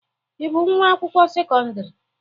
Ị bụ nwa akwụkwọ sekọndrị?